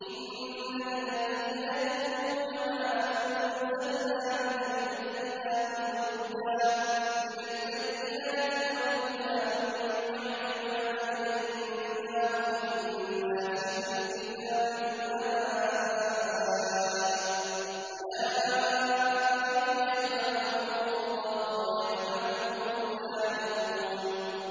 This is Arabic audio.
إِنَّ الَّذِينَ يَكْتُمُونَ مَا أَنزَلْنَا مِنَ الْبَيِّنَاتِ وَالْهُدَىٰ مِن بَعْدِ مَا بَيَّنَّاهُ لِلنَّاسِ فِي الْكِتَابِ ۙ أُولَٰئِكَ يَلْعَنُهُمُ اللَّهُ وَيَلْعَنُهُمُ اللَّاعِنُونَ